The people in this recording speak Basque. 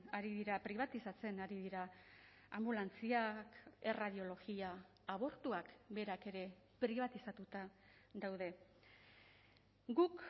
ari dira pribatizatzen ari dira anbulantziak erradiologia abortuak berak ere pribatizatuta daude guk